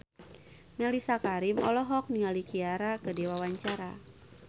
Mellisa Karim olohok ningali Ciara keur diwawancara